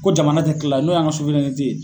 Ko jamana tɛ kila n'o y'an ka